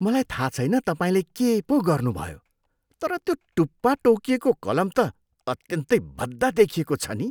मलाई थाहा छैन तपाईँले के पो गर्नुभयो तर त्यो टुप्पा टोकिएको कलम त अत्यन्तै भद्दा देखिएको छ नि।